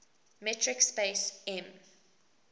metric space m